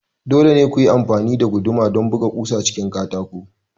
Dole ne ku yi amfani da guduma don buga ƙusa cikin katako